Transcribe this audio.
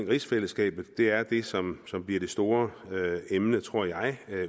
rigsfællesskabet at det er det som som bliver det store emne tror jeg